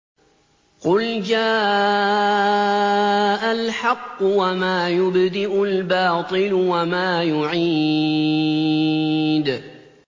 قُلْ جَاءَ الْحَقُّ وَمَا يُبْدِئُ الْبَاطِلُ وَمَا يُعِيدُ